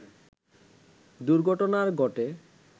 দুর্ঘটনার ঘটে